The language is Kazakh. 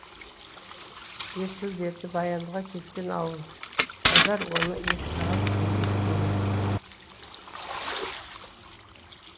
есіл дерті баянға кеткен ауып қодар оны еске алып елесін бе